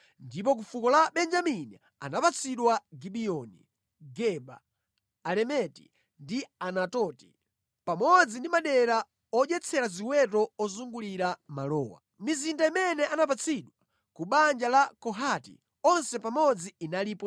Ndipo ku fuko la Benjamini anapatsidwa Gibiyoni, Geba, Alemeti ndi Anatoti, pamodzi ndi madera odyetsera ziweto ozungulira malowa. Mizinda imene anapatsidwa ku banja la Kohati onse pamodzi inalipo 13.